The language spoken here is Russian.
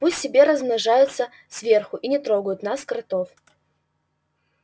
пусть себе размножаются сверху и не трогают нас кротов